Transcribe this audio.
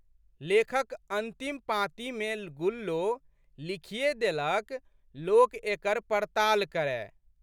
लेखक अंतिम पाँतिमे गुल्लो लिखिए देलक, लोक एकर पड़ताल करए।